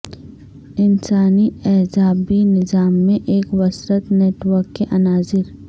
انسانی اعصابی نظام میں ایک وسرت نیٹ ورک کے عناصر